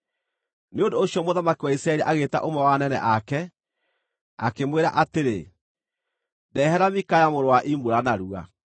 Nĩ ũndũ ũcio mũthamaki wa Isiraeli agĩĩta ũmwe wa anene ake, akĩmwĩra atĩrĩ, “Ndehera Mikaya mũrũ wa Imula narua.”